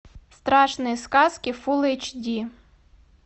страшные сказки фул эйч ди